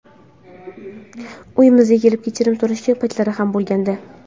Uyimizga kelib kechirim so‘ragan paytlari ham bo‘lgandi.